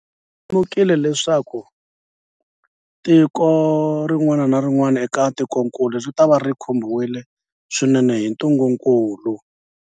Hi lemukile leswaku tiko rin'wana na rin'wana eka tikokulu ritava ri khumbiwile swinene hi ntungukulu.